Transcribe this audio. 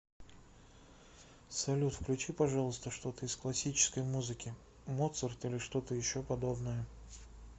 салют включи пожалуйста что то из классической музыки моцарт или что то еще подобное